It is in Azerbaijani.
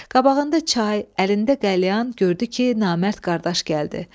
Qabağında çay, əlində qəlyan gördü ki, namərd qardaş gəldi.